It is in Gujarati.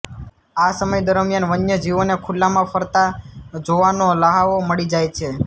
આ સમય દરમિયાન વન્યજીવોને ખુલ્લામાં ફરતા જોવાનો લહાવો મળી જાય છે